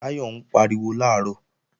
Táyọ̀ ń pariwo làárọ̀